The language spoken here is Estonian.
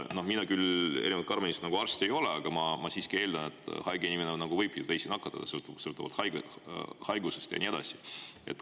Mina erinevalt Karmenist arst ei ole, aga ma siiski eeldan, et haige inimene võib teisi nakatada, sõltuvalt haigusest ja nii edasi.